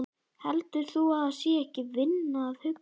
Heldur þú að það sé ekki vinna að hugsa?